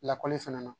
Lakɔli fana na